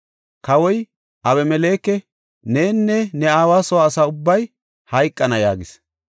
Kawoy, “Abimeleke, nenne ne aawa soo asa ubbay hayqana” yaagis.